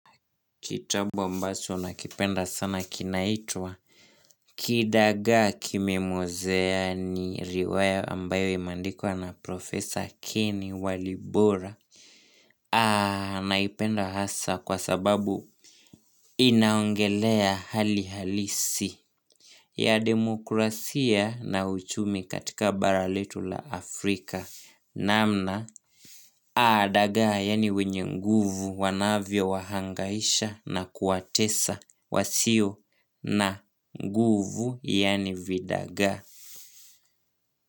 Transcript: Kitabu ambacho nakipenda sana kinaitwa Kidagaa Kimemwozea. Ni riwaya ambayo imeandikwa na Profesor Kenny Walibora Naipenda hasa kwa sababu inaongelea hali halisi ya demokrasia na uchumi katika bara letu la Afrika namna dagaa yaani wenye nguvu wanavyo wahangaisha na kuwatesa wasio na nguvu yaani vidagaa.